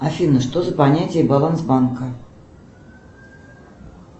афина что за понятие баланс банка